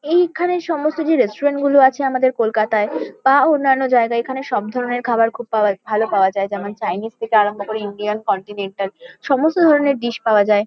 এই খানে সমস্ত যে রেস্টুরেন্ট -গুলো আছে আমাদের কলকাতায় বা অন্যান্য জায়গায়। এখানে সবধরণের খাবার খুব পাওয়া ভালো পাওয়া যায়। যেমন- চাইনিস থেকে আরম্ভ করে ইন্ডিয়ান কন্টিনেন্টাল সমস্ত ধরণের ডিশ পাওয়া যায়।